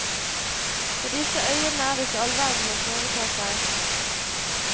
På disse øyene er det ikke all verden å foreta seg.